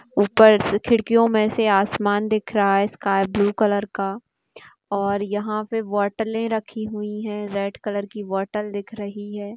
ऊपर-स खिड़कियों मे से आसमान दिख रहा है स्काय ब्लू कलर का और यहाँ पे बॉटले रखी हुई है रेड कलर की बॉटल दिख रही है।